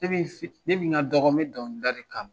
n ka dɔgɔ n bɛ dɔnkili da kan.